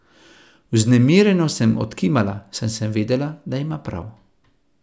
Vznemirjeno sem odkimala, saj sem vedela, da ima prav.